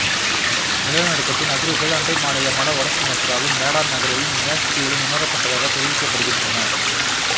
நிலநடுக்கத்தின் அதிர்வுகள் அண்டை மாநிலமான வட சுமத்தராவின் மேடான் நகரிலும் நியாஸ் தீவிலும் உணரப்பட்டதாக தெரிவிக்கப்படுகின்றன